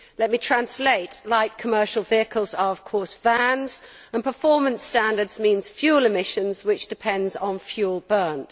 Let me translate light commercial vehicles are, of course, vans, and performance standards mean fuel emissions which depend on fuel burnt.